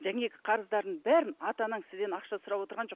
қарыздардың бәрін ата анаңыз сізден ақша сұрап отырған жоқ